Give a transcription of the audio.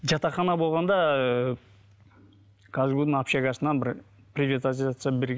жатақхана болғанда ыыы казгу дың общагасынан бір приватизация